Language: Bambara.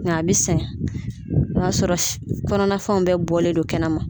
Nka a bɛ sɛgɛn o y'a sɔrɔ kɔnɔnafɛnw bɛ bɔlen don kɛnɛ ma.